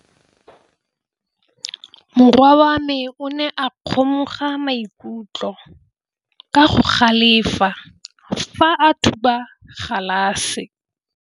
Morwa wa me o ne a kgomoga maikutlo ka go galefa fa a thuba galase.